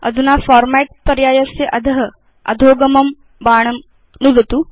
अधुना फॉर्मेट् पर्यायस्य अध अधोगमं बाणं नुदतु